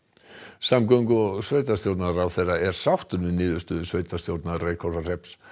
samgöngu og sveitarstjórnarráðherra er sáttur við niðurstöðu sveitarstjórnar Reykhólahrepps